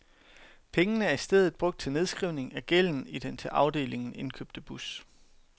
Pengene er i stedet brugt til nedskrivning af gælden i den til afdelingen indkøbte bus.